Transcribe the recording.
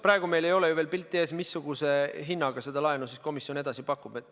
Praegu meil ei ole ju veel pilti ees, missuguse hinnaga seda laenu komisjon edasi pakub.